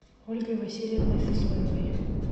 ольгой васильевной сысоевой